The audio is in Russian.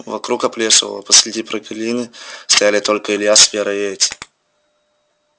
вокруг оплешивело посреди прогалины стояли только илья с верой и эти